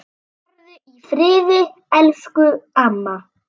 Farðu í friði, elsku amma.